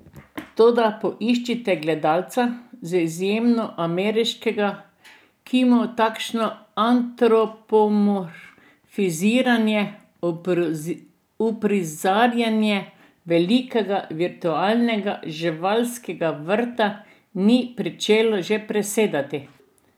Toda poiščite gledalca, z izjemo ameriškega, ki mu takšno antropomorfiziranje, uprizarjanje velikega virtualnega živalskega vrta, ni pričelo že presedati.